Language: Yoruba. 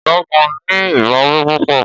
Ọ̀gágun ní ìbáwí púpọ̀.